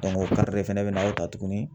o fɛnɛ bɛ na o ta tugunni.